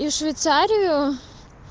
и швейцарию